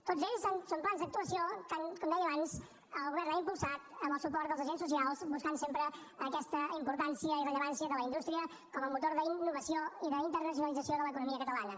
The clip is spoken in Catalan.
tots ells són plans d’actuació que com deia abans el govern ha impulsat amb el suport dels agents socials buscant sempre aquesta importància i rellevància de la indústria com a motor d’innovació i d’internacionalització de l’economia catalana